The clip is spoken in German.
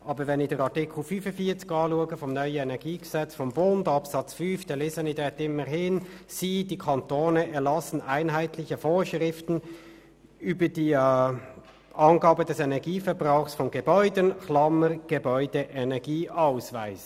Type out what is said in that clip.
Aber Artikel 45 Absatz 5 des neuen Energiegesetzes des Bundes (EnG) sagt: «Sie» – die Kantone – «erlassen einheitliche Vorschriften über die Angabe des Energieverbrauchs von Gebäuden (Gebäudeenergieausweis).